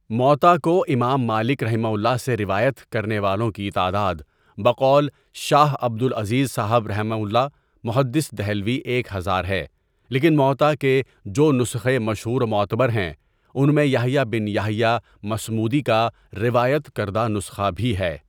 موطا کو امام مالکؒ سے روایت کرنے والوں کی تعداد بقول شاہ عبدالعزیز صاحبؒ محدث دہلوی ایک ہزار ہے لیکن مؤطا کے جو نسخے مشہور و معتبر ہیں، ان میں یحییٰ بن یحییٰ مصمودی کا روایت کردہ نسخہ بھی ہے،.